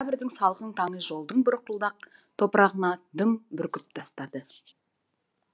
октябрьдің салқын таңы жолдың бұрқылдақ топырағына дым бүркіп тастады